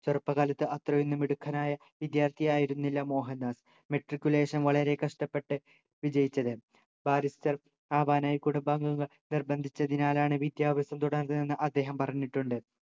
ചെറുപ്പകാലത്ത് അത്രയും മിടുക്കനായ വിദ്യാർത്ഥി ആയിരുന്നില്ല മോഹൻദാസ് matriculation വളരെ കഷ്ടപ്പെട്ട് വിജയിച്ചത് barister ആവാനായി കുടുംബാംഗങ്ങൾ നിർബന്ധിച്ചതിനാലാണ് വിദ്യാഭ്യാസം തുടർന്നതെന്നു അദ്ദേഹം പറഞ്ഞിട്ടുണ്ട്